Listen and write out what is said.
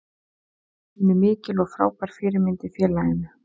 Hún er mikil og frábær fyrirmynd í félaginu.